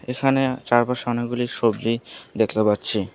এখানে চারপাশে অনেকগুলি সবজি দেখতে পাচ্ছি।